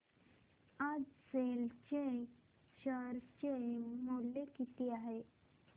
आज सेल चे शेअर चे मूल्य किती आहे